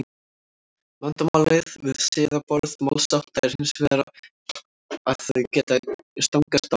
vandamálið við siðaboð málshátta er hins vegar að þau geta stangast á